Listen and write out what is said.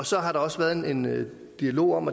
så har der også været en dialog om